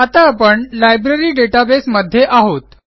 आता आपण library database मध्ये आहोत